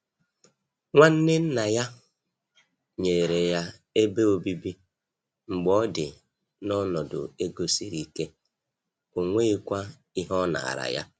Nwanne nna ya nyere ya ebe obibi mgbe ọ dị n’ọnọdụ ego siri ike, ọ nweghịkwa ihe ọ nara ya.